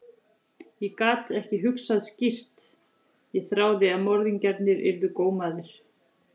Ég gat bara ekki hugsað skýrt, ég þráði að morðingjarnir yrðu gómaðir.